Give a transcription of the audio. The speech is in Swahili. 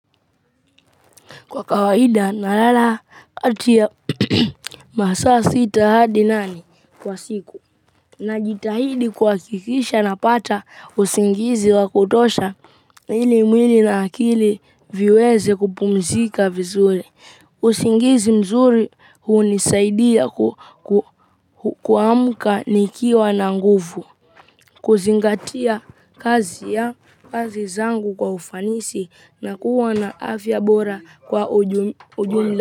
Kwa kawaida nalala kati ya masaa sita hadi nane kwa siku, najitahidi kuhakikisha napata usingizi wa kutosha ili mwili na akili viweze kupumzika vizuri. Usingizi mzuri hunisaidia kuamka nikiwa na nguvu. Kuzingatia kazi ya kazi zangu kwa ufanisi na kuwa na afya bora kwa ujumla.